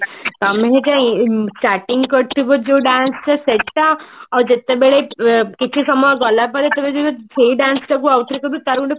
ତମେ ଗୋଟେ starting କରିଥିବ ଯୋଉ dance ଟା ସେଟା ଆଉ ଯେତେବେଳ ଉଁ କିଛି ସମୟ ଗଲାପରେ ତମେ ଯଦି ସେଇ dance ଟାକୁ ଆଉ ଥରେ କରିବ ତାର ଗୋଟେ